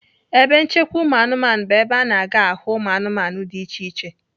Ebe nchekwa ụmụanụmanụ bụ ebe a na-aga ahụ ụmụanụmanụ dị iche iche.